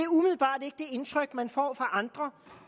indtryk man får fra andre